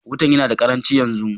Wutan yana da ƙaranchi yanzu.